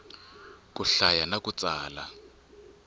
ku hlaya na ku tsala